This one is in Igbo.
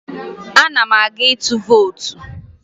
Ana m aga ịtụ vootu